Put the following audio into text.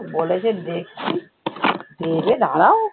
বলেছে দেখছি দেবে দাঁড়াও